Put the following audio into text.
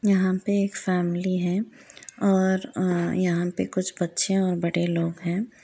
यहाँ पे एक फैमिली है और आ यहाँ पे कुछ बच्चे और बड़े लोग हैं।